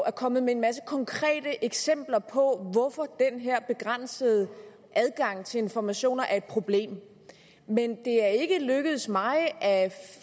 er kommet med en masse konkrete eksempler på hvorfor den her begrænsede adgang til informationer er et problem men det er ikke lykkedes mig at